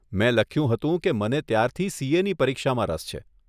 મેં લખ્યું હતું કે મને ત્યારથી સીએની પરીક્ષામાં રસ છે.